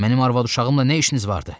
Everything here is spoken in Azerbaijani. Mənim arvad-uşağımla nə işiniz vardı?